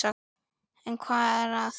En hvað er að?